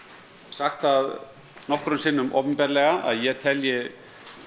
sagt það nokkrum sinnum opinberlega að ég telji